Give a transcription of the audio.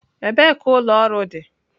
Ebee ka ụlọ ọrụ dị?